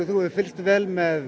þú hefur fylgst vel með